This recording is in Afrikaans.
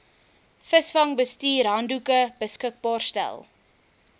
visvangsbestuurshandboeke beskikbaar stel